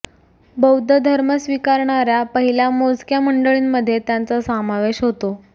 बौद्ध धर्म स्वीकारणाऱ्या पहिल्या मोजक्या मंडळींमध्ये त्यांचा समावेश होतो